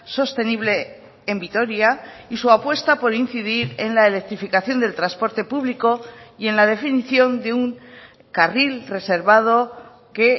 sostenible en vitoria y su apuesta por incidir en la electrificación del transporte público y en la definición de un carril reservado que